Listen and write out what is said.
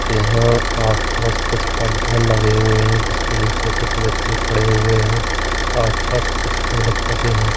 यह पेज हुए है जिसके निचे कुछ व्यक्ति खड़े हुए है आस पास कुछ पेड़ पौधे है।